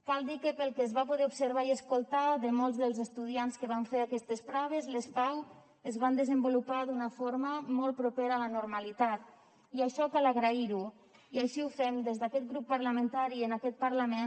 cal dir que pel que es va poder observar i escoltar de molts dels estudiants que van fer aquestes proves les pau es van desenvolupar d’una forma molt propera a la normalitat i això cal agrair ho i així ho fem des d’aquest grup parlamentari en aquest parlament